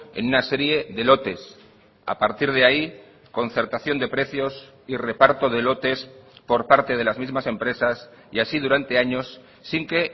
en una serie de lotes a partir de ahí concertación de precios y reparto de lotes por parte de las mismas empresas y así durante años sin que